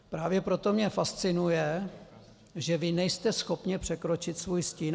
Právě proto mě fascinuje, že vy nejste schopni překročit svůj stín.